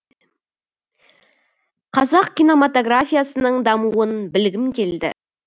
қазақ киномотографиясының дамуын білгім келді